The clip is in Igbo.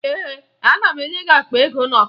Ee, ana m enye gị akpa ego na ọkara